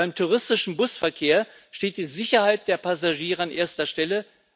Beim touristischen Busverkehr steht die Sicherheit der Passagiere an erster Stelle.